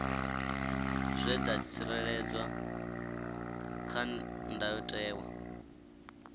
zwe dza tsireledzwa kha ndayotewa